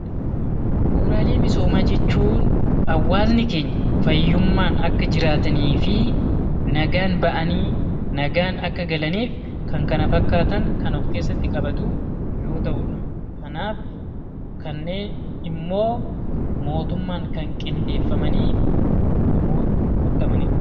Bu'uuraalee misoomaa jechuun hawaasni keenya fayyummaan akka jiraaataniif nagaan bahanii nagaan akka galaniif kan kana fakkaatan kan of keessatti qabatuudha kanaaf kanneen immoo mootummaan kan qindeeffamanii guutamaniidha